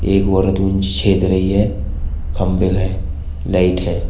एक औरत उन छेद रही है खंभे हैं लाइट है।